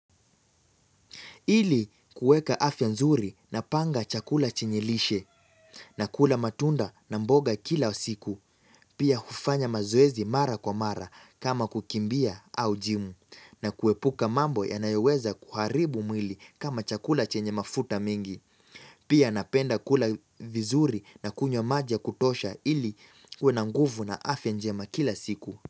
Ili kuweka afya nzuri napanga chakula chenye lishe, nakula matunda na mboga kila siku, pia hufanya mazoezi mara kwa mara kama kukimbia au jimu, na kuepuka mambo yanayoweza kuharibu mwili kama chakula chenye mafuta mingi. Pia napenda kula vizuri na kunywa maji ya kutosha ili uwe na nguvu na afya njema kila siku.